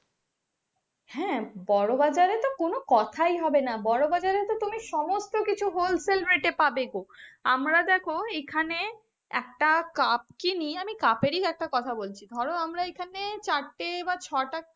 বড়ো বাজার এর তো কোনো কোথায় হবে না, বড়ো বাজার এ তো তুমি সমস্ত কিছু whole sell rate পাবে গো, আমার দেখো এখানে একটা কাপ কিনি, আমি কাপ এর একটা কথা বলছি ধরো আমরা এখানে ছাড়তে বা ছ টা.